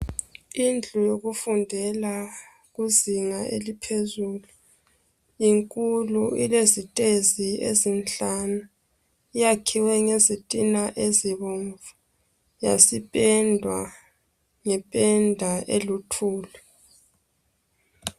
Indlu yokufundela kuzinga eliphezulu inkulu ilezitezi ezinhlanu iyakhiwe ngezitina ezibomvu yasipendwa ngependa eluthuli.